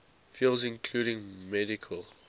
fields including medical